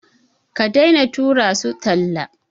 Ka daina tura su talla.